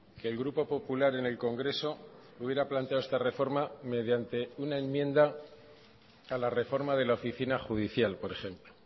que el grupo popular en el congreso hubiera planteado esta reforma mediante una enmienda a la reforma de la oficina judicial por ejemplo